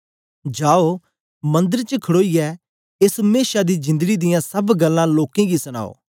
जाओ मंदर च खड़ोईयै एस मेशा दी जिंदड़ी दियां सब गल्लां लोकें गी सनाओ